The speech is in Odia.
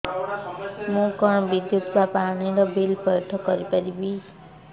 ମୁ କଣ ବିଦ୍ୟୁତ ବା ପାଣି ର ବିଲ ପଇଠ କରି ପାରିବି